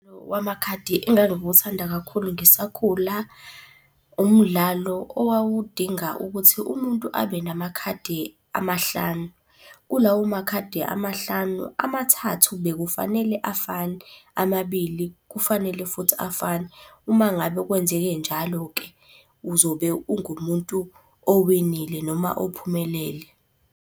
Wamakhadi engangiwuthanda kakhulu ngisakhula, umdlalo owawudinga ukuthi umuntu abe namakhadi amahlanu. Kulawo makhadi amahlanu, amathathu bekufanele afane, amabili kufanele futhi afane. Uma ngabe kwenzeke njalo-ke uzobe ungumuntu owinile noma ophumelele.